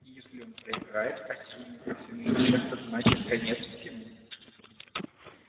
и если он проиграет а сил у него все меньше значит конец всему